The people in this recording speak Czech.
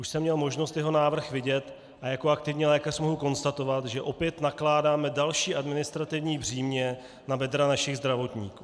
Už jsem měl možnost jeho návrh vidět a jako aktivní lékař mohu konstatovat, že opět nakládáme další administrativní břímě na bedra našich zdravotníků.